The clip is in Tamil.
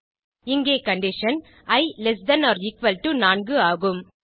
இங்கே condition i less than or equal to 4 ஆகும்